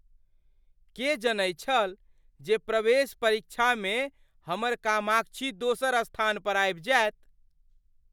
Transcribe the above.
के जनैत छल जे प्रवेश परीक्षामे हमर कामाक्षी दोसर स्थान पर आबि जायत?